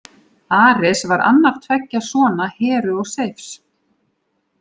Ares var annar tveggja sona Heru og Seifs.